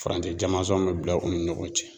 Farancɛ jamanzɔn bɛ bila u ni ɲɔgɔn cɛ.